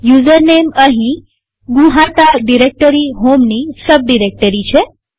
યુઝરનેમઅહીં નુહાતા ડિરેક્ટરી હોમની sub directory છે